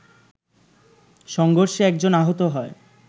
সংঘর্ষে একজন আহত হয়